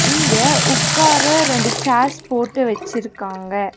இங்க உக்கார ரெண்டு சேர்ஸ் போட்டு வெச்சிருக்காங்க.